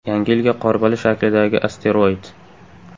Yangi yilga Qorbola shaklidagi asteroid.